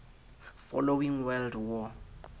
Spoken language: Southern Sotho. following world war